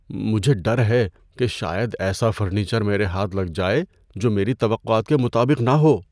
مجھے ڈر ہے کہ شاید ایسا فرنیچر میرے ہاتھ لگ جائے جو میری توقعات کے مطابق نہ ہو۔